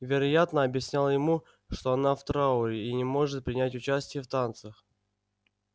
вероятно объяснял ему что она в трауре и не может принять участия в танцах